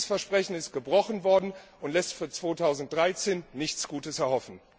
Dieses Versprechen ist gebrochen worden, und dies lässt für 2013 nichts Gutes erhoffen.